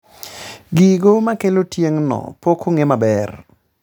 Gigo makelo tieng' no pokong'e maber